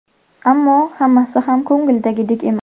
Ammo hammasi ham ko‘ngildagidek emas.